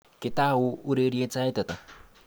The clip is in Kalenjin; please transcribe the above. Ketou ureriet sait ata?